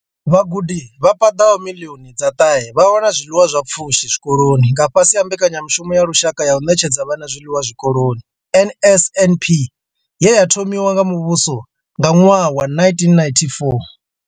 Vhagudi vha paḓaho miḽioni dza ṱahe vha wana zwiḽiwa zwa pfushi zwikoloni nga fhasi ha Mbekanya mushumo ya Lushaka ya u Ṋetshedza Vhana Zwiḽiwa Zwikoloni NSNP ye ya thomiwa nga muvhuso nga ṅwaha wa 1994.